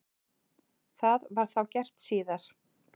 Það var þá gert síðar.